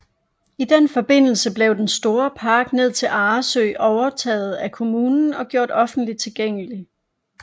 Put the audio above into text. I den forbindelse blev den store park ned til Arresø overtaget af Kommunen og gjort offentligt tilgængelig